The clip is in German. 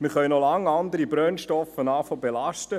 Wir können noch lange beginnen, andere Brennstoffe zu belasten: